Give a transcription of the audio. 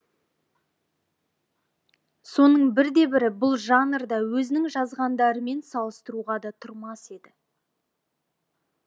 соның бірде бірі бұл жанрда өзінің жазғандарымен салыстыруға да тұрмас еді